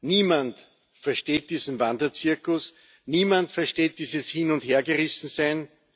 Niemand versteht diesen Wanderzirkus, niemand versteht dieses Hin und Hergerissen Sein.